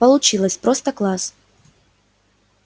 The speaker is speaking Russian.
получилось просто класс